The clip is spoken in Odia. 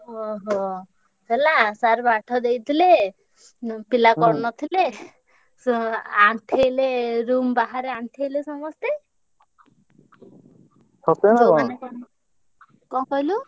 ଓହୋ! ହେଲା sir ପାଠ ଦେଇଥିଲେ, ଉଁ ପିଲା କରି ନଥିଲେ। ~ସୁ ~ଆ ଆଣ୍ଠେଇଲେ room ବାହାରେ ଆଣ୍ଠେଇଲେ ସମସ୍ତେ। କଣ କହିଲୁ?